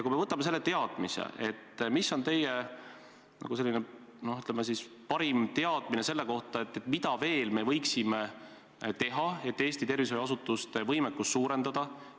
Kui me võtame selle teadmise, siis mis on teie, ütleme siis, parim teadmine, mida me veel võiksime teha, et Eesti tervishoiuasutuste võimekust suurendada?